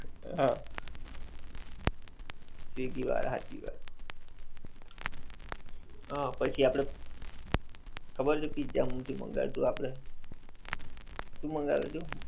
હાં. સ્વીગી વાળાં હાંચી વાત. હં પછી આપડે, ખબર છે પિઝા માંથી મંગાવ્યું હતું આપડે. શું મંગાવ્યું તું?